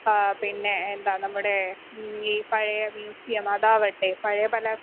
speaker 1 ആ പിന്നെ എന്താ നമ്മുടെ ഈ പഴയ മ്യൂസിയം അതാവട്ടെ പഴയ പല